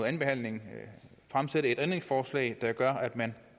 andenbehandlingen fremsætte et ændringsforslag der gør at man